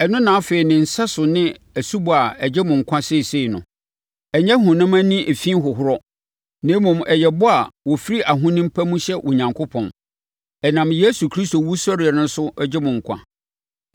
Ɛno na afei ne sɛso ne asubɔ a ɛgye mo nkwa seesei no. Ɛnyɛ honam ani efi hohoro, na mmom, ɛyɛ bɔ a wɔfiri ahonim pa mu hyɛ Onyankopɔn. Ɛnam Yesu Kristo wusɔreɛ so gye mo nkwa.